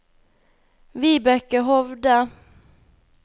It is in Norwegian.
Vibeke Hovde